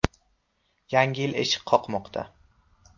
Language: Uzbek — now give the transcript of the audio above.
Yangi yil eshik qoqmoqda!